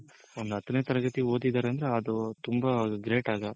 ಒಂದ್ ಹತ್ತನೆ ತರಗತಿ ಓದಿದ್ದಾರೆ ಅಂದ್ರೆ ಅದು ತುಂಬಾ Great ಆಗ.